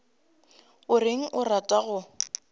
o reng o rata go